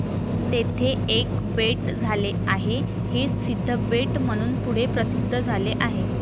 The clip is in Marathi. तेथे एक बेट झाले आहे, हेच सिद्धबेट म्हणून पुढे प्रसिद्ध झाले.